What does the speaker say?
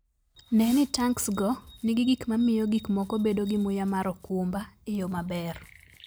Ne ni tanksgo nigi gik ma miyo gik moko bedo gi muya mar okumba e yo maber.